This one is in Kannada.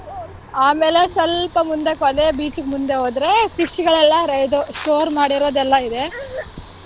ಆಮೇಲೆ ಸ್ವಲ್ಪ ಮುಂದಕೋದ್ರೆ beach ಗೆ ಮುಂದೆ ಹೋದ್ರೆ fish ಗಳೆಲ್ಲಾ ಇದು store ಮಾಡಿರೋದೆಲ್ಲಾ ಇದೆ